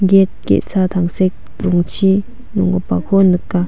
get ge·sa tangsek rongchi nonggipako nika.